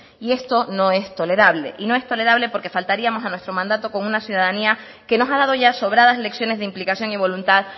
y esto no es tolerable y no es tolerable porque faltaríamos a nuestro mandato con una ciudadanía que nos ha dado ya sobradas lecciones de implicación y voluntad